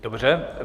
Dobře.